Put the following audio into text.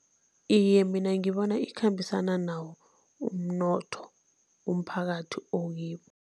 Iye, mina ngibona ikhambisana nawo umnotho umphakathi okibo.